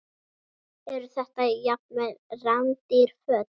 Eru þetta jafnvel rándýr föt?